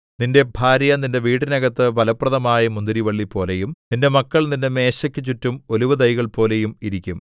നിന്റെ ഭാര്യ നിന്റെ വീടിനകത്ത് ഫലപ്രദമായ മുന്തിരിവള്ളി പോലെയും നിന്റെ മക്കൾ നിന്റെ മേശയ്ക്കു ചുറ്റും ഒലിവുതൈകൾ പോലെയും ഇരിക്കും